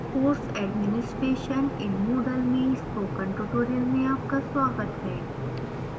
course administration in moodle में spoken tutorial में आपका स्वागत है